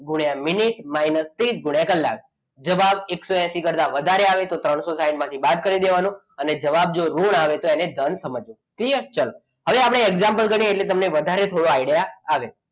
ગુણ્યા minute minus ત્રીસ ગુણ્યા કલાક જવાબ એકસો એસી કરતા વધારે આવે તો ત્રણસો સાઈઠ માંથી બાદ કરી દેવાનો. અને જો જવાબ ઋણ આવે તો તેને ધન સમજવાનો. હવે ચલો હવે આપણે example ગણીએ એટલે વધારે થોડો આઈડિયા આવે.